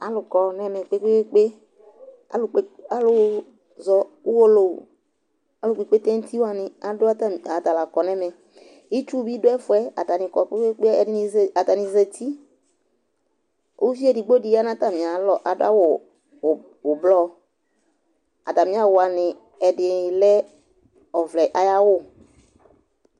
Alukɔ ŋɛve kpékpé Alʊ zɔ ʊwolowu Alɔ ƙpɔ ɩkpété ŋuti wani ata ƙɔ ŋɛmɛ Ɩtsu ɓi ɖu ɛfoɛ Atani ƙɔ ƙpékpé, atanɩ zati Ʊʋi éɖɩgbo ya nʊ tamialɔ, aɖʊ awʊ ʊɓlɔ atamiawʊ waŋɩ, ɛɖɩ lɛ ɔʋlɛ aƴawʊ